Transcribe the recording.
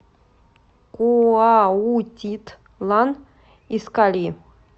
куаутитлан искальи